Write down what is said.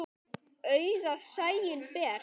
Augað sæinn ber.